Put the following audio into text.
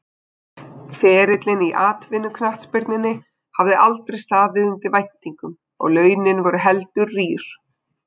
Ferillinn í atvinnuknattspyrnunni hafði aldrei staðið undir væntingum og launin voru heldur rýr.